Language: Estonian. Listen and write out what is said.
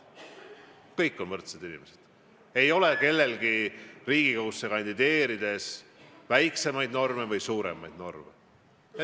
Kõik on võrdsed, kellelgi ei ole Riigikogusse kandideerides leebemaid norme või rangemaid norme.